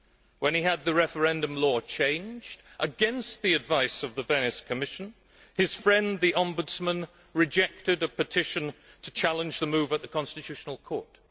When he had the referendum law changed, against the advice of the Venice Commission, his friend the Ombudsman rejected a petition to challenge the move at the constitutional court.